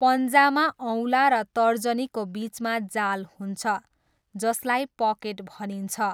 पन्जामा औँला र तर्जनीको बिचमा जाल हुन्छ, जसलाई 'पकेट' भनिन्छ।